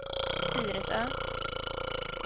Tyresö